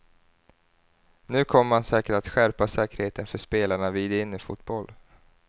Nu kommer man säkert att skärpa säkerheten för spelarna vid innefotboll.